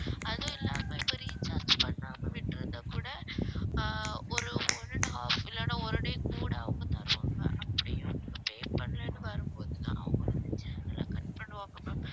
அதுவும் இல்லாம இப்ப recharge பண்ணாம விட்டுருந்தா கூட ஆஹ் ஒரு one and half இல்லனா ஒரு day கூட அவங்க தருவாங்க அப்படியும் pay பண்ணலன்னு வரும் போது அவங்க வந்து channel அ cut பண்ணுவாங்க ma'am